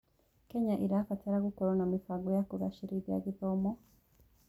Kenya ĩrabatara gũkorwo na mĩbango ya kũgacĩrithia gĩthomo.